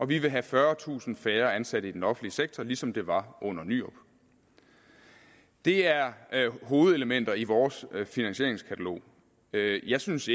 vi vil have fyrretusind færre ansat i den offentlige sektor ligesom der var under nyrup det er hovedelementer i vores finansieringskatalog jeg synes